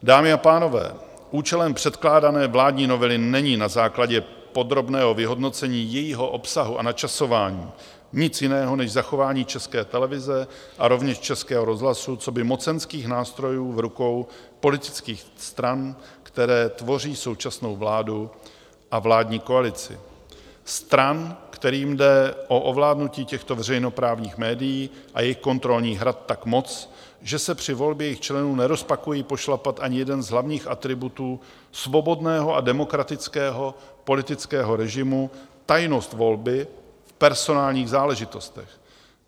Dámy a pánové, účelem předkládané vládní novely není na základě podrobného vyhodnocení jejího obsahu a načasování nic jiného než zachování České televize a rovněž Českého rozhlasu coby mocenských nástrojů v rukou politických stran, které tvoří současnou vládu a vládní koalici, stran, kterým jde o ovládnutí těchto veřejnoprávních médií a jejich kontrolních rad tak moc, že se při volbě jejich členů nerozpakují pošlapat ani jeden z hlavních atributů svobodného a demokratického politického režimu, tajnost volby v personálních záležitostech.